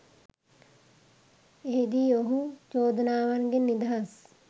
එහිදී ඔහු චෝදනාවන්ගෙන් නිදහස්